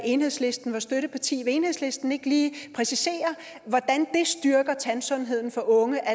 enhedslisten var støtteparti vil enhedslisten ikke lige præcisere hvordan det styrker tandsundheden for unge at